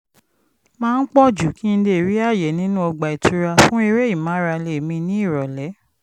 máa ń pọ̀ jù kí n lè rí àyè nínú ọgbà ìtura fún eré ìmárale mi ní ìrọ̀lẹ́